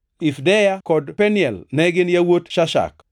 Ifdeya kod Penuel ne gin yawuot Shashak.